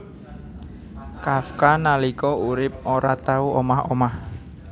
Kafka nalika urip ora tau omah omah